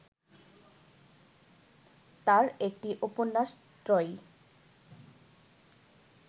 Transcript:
তাঁর একটি উপন্যাস ত্রয়ী